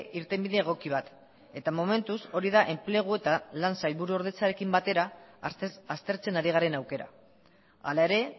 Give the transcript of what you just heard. irtenbide egoki bat eta momentuz hori da enplegu eta lan sailburu ordetzarekin batera aztertzen ari garen aukera hala ere